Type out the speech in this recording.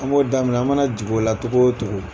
An b'o daiminɛ an mana jigi o la cogo o cogo.